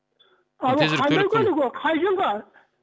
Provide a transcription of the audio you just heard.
алло қандай көлік ол қай жылғы